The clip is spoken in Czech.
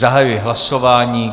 Zahajuji hlasování.